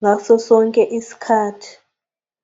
ngaso sonke isikhathi.